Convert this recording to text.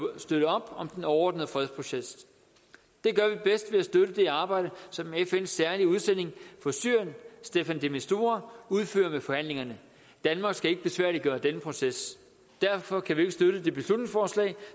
at støtte op om den overordnede fredsproces det gør vi bedst ved at støtte det arbejde som fns særlige udsending for syrien staffan de mistura udfører ved forhandlingerne danmark skal ikke besværliggøre denne proces derfor kan vi ikke støtte det beslutningsforslag